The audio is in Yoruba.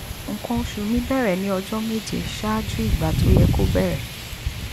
nǹkan oṣù mi bẹ̀rẹ̀ ní ọjọ́ méje ṣáájú ìgbà tó yẹ kó bẹ̀rẹ̀